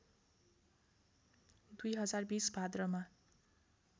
२०२० भाद्रमा